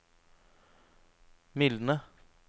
mildne